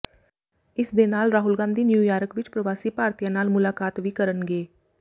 ਇਸ ਦੇ ਨਾਲ ਰਾਹੁਲ ਗਾਂਧੀ ਨਿਊਯਾਰਕ ਵਿੱਚ ਪ੍ਰਵਾਸੀ ਭਾਰਤੀਆਂ ਨਾਲ ਮੁਲਾਕਾਤ ਵੀ ਕਰਨਗੇ